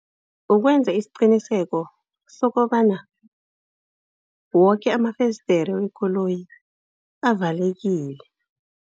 Kukwenza isiqiniseko sokobana woke amafesidiri wekoloyi avalekile.